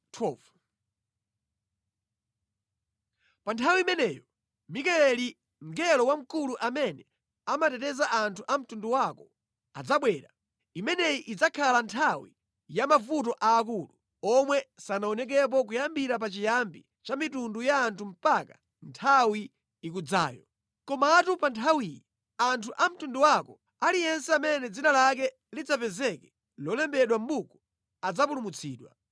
“Pa nthawi imeneyo Mikayeli, mngelo wamkulu amene amateteza anthu a mtundu wako, adzabwera. Imeneyi idzakhala nthawi ya mavuto aakulu omwe sanaonekepo kuyambira pachiyambi cha mitundu ya anthu mpaka nthawi ikudzayo. Komatu pa nthawiyi anthu a mtundu wako, aliyense amene dzina lake lidzapezeke lolembedwa mʼbuku adzapulumutsidwa.